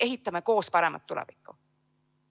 Ehitame koos paremat tulevikku!